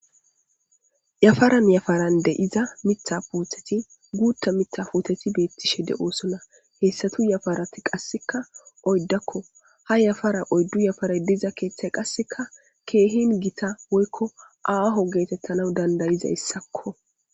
Yafaran yafarande iza mitha puutheti guutta mitha puteti beettishe de oosona heessatu yafarati qasseka oyddakko ha yafara oyddu yafare diza keeththay qasseka keehin gita woykko aaho geetettana dandayiza yssakko.